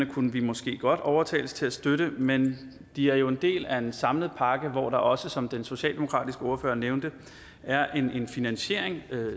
kunne vi måske godt overtales til at støtte men de er jo en del af en samlet pakke hvor der også som den socialdemokratiske ordfører nævnte er en finansiering